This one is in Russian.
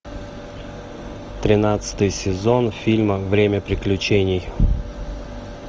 тринадцатый сезон фильма время приключений